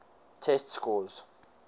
test scores